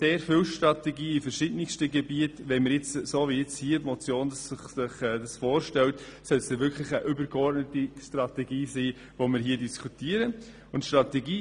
Gemäss den Vorstellungen der MotionärInnen sollten wir hier wirklich eine übergeordnete Strategie diskutieren können.